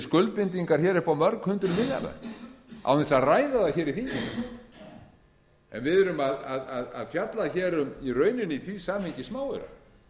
hér upp á mörg hundruð milljarða án þess að ræða það hér í þinginu við erum að fjalla hér í rauninni í því samhengi um smáaura